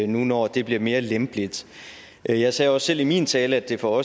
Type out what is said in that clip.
nu når det bliver mere lempeligt jeg jeg sagde også selv i min tale at det for